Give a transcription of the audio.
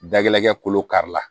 Dagɛlɛkɛ kolo kari la